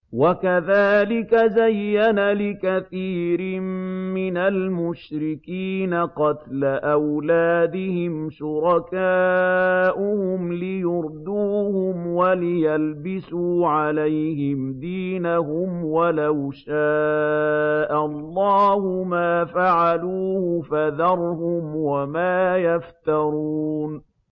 وَكَذَٰلِكَ زَيَّنَ لِكَثِيرٍ مِّنَ الْمُشْرِكِينَ قَتْلَ أَوْلَادِهِمْ شُرَكَاؤُهُمْ لِيُرْدُوهُمْ وَلِيَلْبِسُوا عَلَيْهِمْ دِينَهُمْ ۖ وَلَوْ شَاءَ اللَّهُ مَا فَعَلُوهُ ۖ فَذَرْهُمْ وَمَا يَفْتَرُونَ